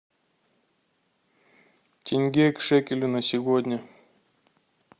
тенге к шекелю на сегодня